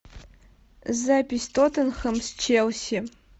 запись тоттенхэм с челси